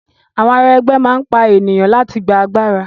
Àwọn ará ẹgbẹ́ máa n pa ènìyàn láti gbà agbára.